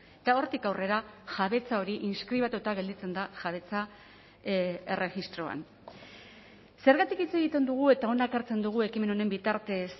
eta hortik aurrera jabetza hori inskribatuta gelditzen da jabetza erregistroan zergatik hitz egiten dugu eta hona ekartzen dugu ekimen honen bitartez